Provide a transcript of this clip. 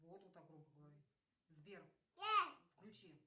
сбер включи